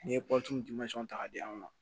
N'i ye ta k'a di an ma